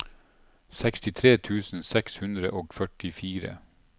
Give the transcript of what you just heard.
sekstitre tusen seks hundre og førtifire